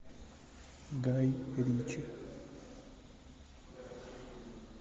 гай ричи